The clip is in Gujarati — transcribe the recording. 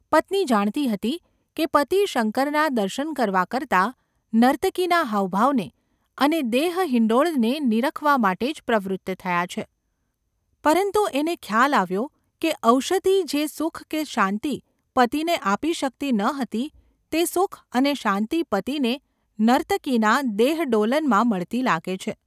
પત્ની જાણતી હતી કે પતિ શંકરનાં દર્શન કરવા કરતાં નર્તકીના હાવભાવને અને દેહહિંડોળને નીરખવા માટે જ પ્રવૃત્ત થયા છે; પરંતુ એને ખ્યાલ આવ્યો કે ઔષધિ જે સુખ કે શાંતિ પતિને આપી શકતી ન હતી તે સુખ અને શાંતિ પતિને નર્તકીના દેહડોલનમાં મળતી લાગે છે.